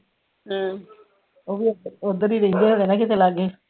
ਉਹ ਵੀ ਓਧਰ ਹੀ ਰੇਂਦੇ ਹੋਣੇ ਆ ਨਾ ਕਿਤੇ ਲਾਗੈ